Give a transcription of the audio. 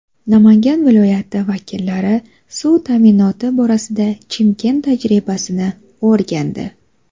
Namangan viloyati vakillari suv ta’minoti borasida Chimkent tajribasini o‘rgandi.